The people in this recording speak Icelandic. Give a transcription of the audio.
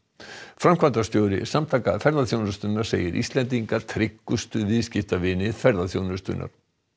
framkvæmdastjóri Samtaka ferðaþjónustunnar segir Íslendinga tryggustu viðskiptavini ferðaþjónustunnar